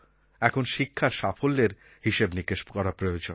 এখন শিক্ষার সাফল্যের হিসাব নিকাশ করা প্রয়োজন